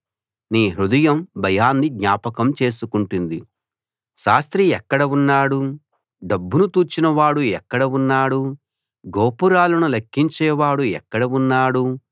నీ హృదయం భయాన్ని జ్ఞాపకం చేసుకుంటుంది శాస్త్రి ఎక్కడ ఉన్నాడు డబ్బును తూచిన వాడు ఎక్కడ ఉన్నాడు గోపురాలను లెక్కించేవాడు ఎక్కడ ఉన్నాడు